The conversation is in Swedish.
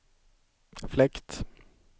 fläkt